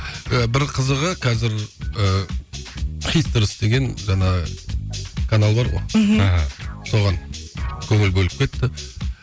ы бір қызығы қазір ыыы хитерс деген жаңа канал бар ғой мхм соған көңіл бөліп кетті